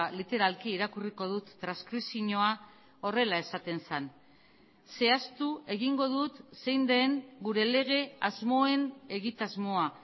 literalki irakurriko dut transkripzioa horrela esaten zen zehaztu egingo dut zein den gure lege asmoen egitasmoa